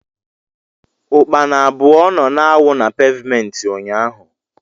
ukpana abụọ nọ na-awụ na pevmenti ụnyaahụ.